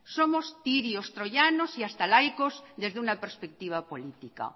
somos tirios troyanos y hasta laicos desde una perspectiva política